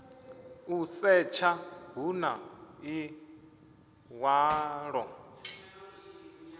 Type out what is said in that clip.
u setsha hu na ḽiṅwalo